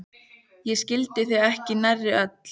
Ég skildi þau ekki nærri öll.